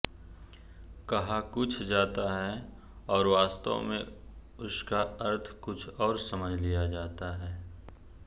कहा कुछ जाता है और वास्तव में उसका अर्थ कुछ और समझ लिया जाता है